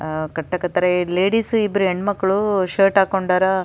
ಆಹ್ಹ್ ಕಟ್ಟಾಕ್ ಹತ್ತರೆ ಲೇಡೀಸ್ ಇಬ್ರು ಹೆಣ್ಮಕ್ಳು ಶರ್ಟ್ ಹಾಕ್ಕೊಂಡರ.